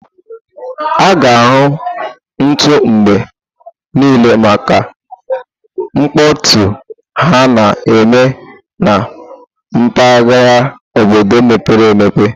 A ga-ahụ nte mgbe niile maka mkpọtụ ha na-eme na mpaghara obodo mepere emepe.